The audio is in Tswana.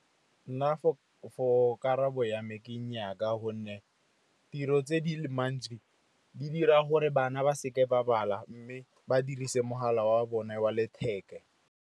Nna for karabo ya me ke nnyaa, ka gonne tiro tse di mantsi di dira gore bana ba se ke ba bala, mme ba dirise mogala wa bone wa letheka.